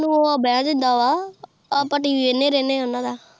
ਬੇਹਂ ਦਿੰਦਾ ਵਾ ਆਪ ਟੀ ਵੀ ਵੇਖੰਡੇ ਰਹਿੰਦੇ ਆ ਓਹਨਾ ਦ